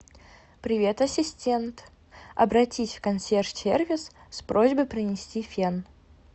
привет ассистент обратись в консьерж сервис с просьбой принести фен